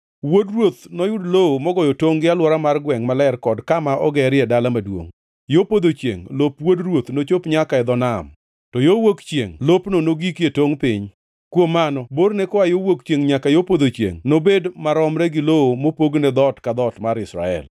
“ ‘Wuod ruoth noyud lowo mogoyo tongʼ gi alwora mar gwengʼ maler kod kama ogerie dala maduongʼ. Yo podho chiengʼ lop wuod ruoth nochop nyaka e dho nam, to yo wuok chiengʼ lopno nogiki e tongʼ piny. Kuom mano borne koa yo wuok chiengʼ nyaka yo podho chiengʼ nobed maromre gi lowo mopogne dhoot ka dhoot mar Israel.